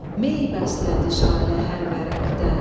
Mey bəslədi jalə hər vərəqdə,